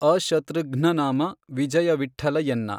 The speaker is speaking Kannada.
ಅಶತೃಘ್ನನಾಮ ವಿಜಯವಿಠ್ಠಲ ಎನ್ನ